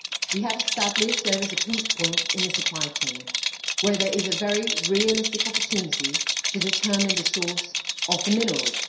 We have established that there is a pinch point in the supply chain where there is a very realistic opportunity to determine the source of the minerals.